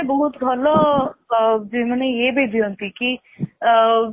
ସେମାନେ ବହୁତ ଭଲ ଅ ଇଏ ମାନେ ଇଏ ବି ଦିଅନ୍ତି କି ଅ